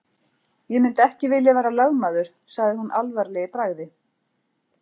Ég myndi ekki vilja vera lögmaður sagði hún alvarleg í bragði.